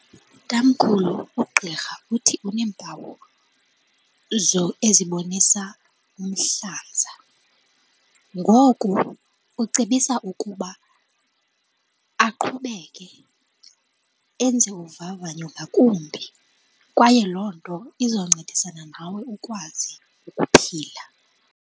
Tamkhulu, ugqirha uthi uneempawu ezibonisa umhlaza. Ngoku ucebisa ukuba aqhubeke enze uvavanyo ngakumbi kwaye loo nto izoncedisana nawe ukwazi ukuphila.